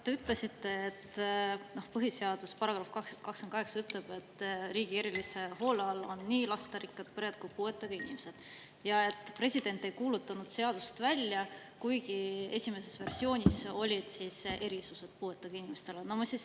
Te ütlesite, et põhiseaduse § 28 ütleb, et riigi erilise hoole all on nii lasterikkad pered kui ka puuetega inimesed, ja et president ei kuulutanud seadust välja, kuigi esimeses versioonis olid puuetega inimestele erisused.